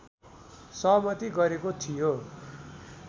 सहमति गरेको थियो